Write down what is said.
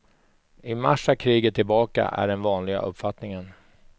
I mars är kriget tillbaka, är den vanliga uppfattningen.